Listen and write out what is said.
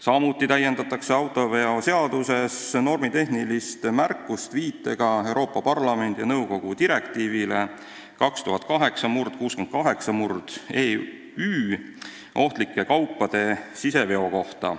Samuti täiendatakse autoveoseaduses normitehnilist märkust viitega Euroopa Parlamendi ja nõukogu direktiivile 2008/68/EÜ ohtlike kaupade siseveo kohta.